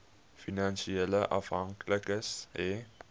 finansiële afhanklikes hê